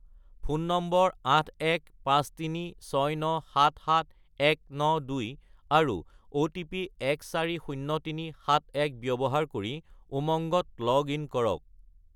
Phone নম্বৰ 81536977192 আৰু OTP 140371 ব্যৱহাৰ কৰি উমংগত লগ-ইন কৰক।